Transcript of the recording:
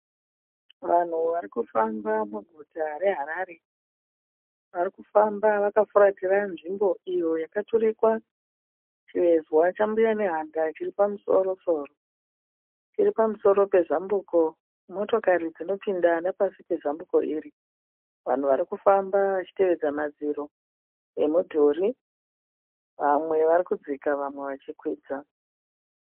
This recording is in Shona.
Vanhu varikufamba muguta reHarare. Varikufamba vakafuratira nzvimbo iyo yakaturikwa chivezwa cha Mbuya Nehanda chiri pamusoro soro. Chiri pamusoro pezambuko. Motokari dzinopinda nepasi pezambuko iri. Vanhu varikufamba vachitevedza madziro emudhuri. Vamwe vari kudzika vamwe vachikwidza.